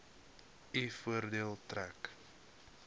u voordeel trek